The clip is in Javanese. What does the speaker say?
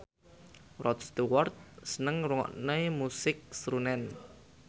Rod Stewart seneng ngrungokne musik srunen